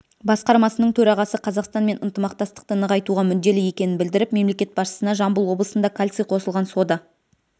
басқармасының төрағасы қазақстанмен ынтымақтастықты нығайтуға мүдделі екенін білдіріп мемлекет басшысына жамбыл облысында кальций қосылған сода